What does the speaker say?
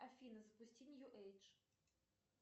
афина запусти нью эйдж